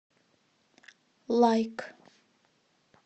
лайк